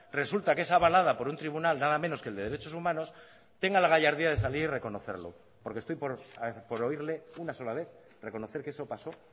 resulta que es avalada por un tribunal nada menos que el de derechos humanos tenga la gallardía de salir y reconocerlo porque estoy por oírle una sola vez reconocer que eso pasó